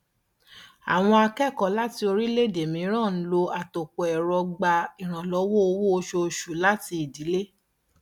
àwọn akẹkọọ láti orílẹèdè mìíràn ń lo àtòpọ ẹrọ gba ìrànlọwọ owó oṣooṣù láti ìdílé